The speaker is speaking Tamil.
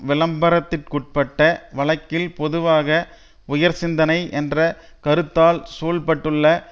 விளம்பரத்திற்குட்டபட்ட வழக்கில் பொதுவாக உயர்சிந்தனை என்ற கருத்தால் சூழப்பட்டுள்ள